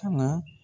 Ka na